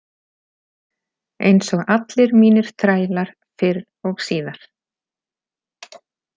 Eins og allir mínir þrælar fyrr og síðar.